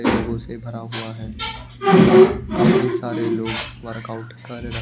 लोगों से भरा हुआ है कई सारे लोग वर्कआउट कर रहे--